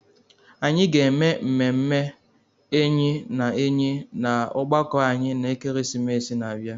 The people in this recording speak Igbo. Anyị ga-eme mmemme enyi na enyi na ọgbakọ anyị na ekeresimesi na-abịa.